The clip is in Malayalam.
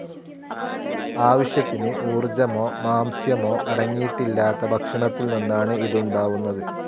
ആവശ്യത്തിന് ഊർജ്ജമോ മാംസ്യാമോ അടങ്ങിയിട്ടില്ലാത്ത ഭക്ഷണത്തിൽ നിന്നാണ് ഇതുണ്ടാവുന്നത്.